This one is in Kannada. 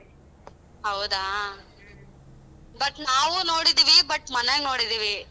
ಹೌದಾ but ನಾವು ನೋಡಿದ್ದೀವಿ but ಮನ್ಯಾಗ ನೋಡಿದ್ದೀವಿ.